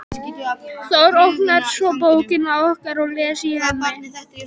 Í sjálfu sér mátti heita gott að lög